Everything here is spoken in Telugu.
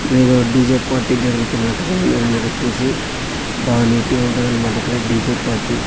ఇక్కడ ఏదో డీ_జే పార్టీ జరుగుతున్నట్టుగా ఉన్నది మీరు చూసి బా నీట్ గా ఉంటది అన్నమాట ఇక్కడ డీ_జే పార్టీ .